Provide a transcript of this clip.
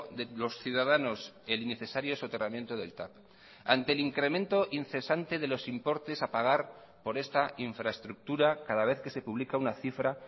de los ciudadanos el innecesario soterramiento del tav ante el incremento incesante de los importes a pagar por esta infraestructura cada vez que se pública una cifra